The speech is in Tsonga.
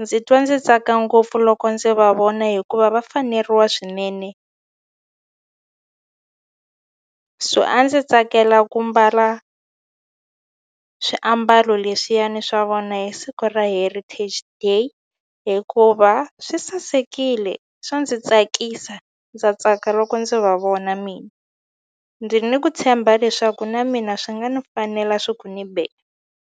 ndzi twa ndzi tsaka ngopfu loko ndzi va vona hikuva va faneriwa swinene so a ndzi tsakela ku mbala swiambalo leswiyani swa vona hi siku ra heritage day hikuva swi sasekile swa ndzi tsakisa ndza tsaka loko ndzi va vona mina ndzi ni ku tshemba leswaku na mina swi nga ni fanela swi ku ni be.